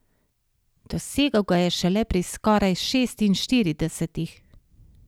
Dosegel ga je šele pri skoraj šestinštiridesetih.